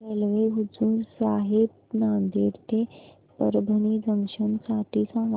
railway Hazur Sahib Nanded ते Parbhani junction साठी सांगा